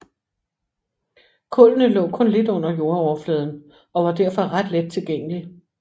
Kullene lå kun lidt under jordoverfladen og var derfor ret let tilgængelig